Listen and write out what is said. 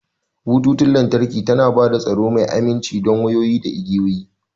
Bututun lantarki tana ba da tsaro mai aminci don wayoyi da igiyoyi.